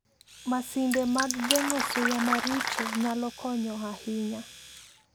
Masinde mag geng'o suya maricho nyalo konyo ahinya.